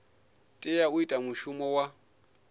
tea u ita mushumo wa